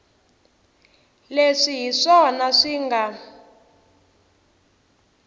leswi hi swona swi nga